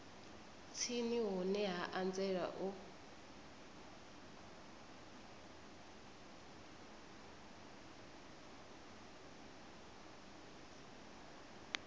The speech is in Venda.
tsini hune ha anzela u